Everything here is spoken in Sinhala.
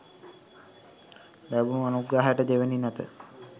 ලැබුණ අනුග්‍රහයට දෙවැනි නැත